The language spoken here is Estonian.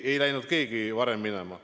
Ei läinud keegi varem minema.